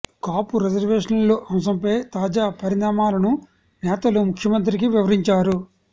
కాపు రిజర్వేష న్ల అంశంపై తాజా పరిణామాలను నేతలు ముఖ్యమంత్రికి వివరించారు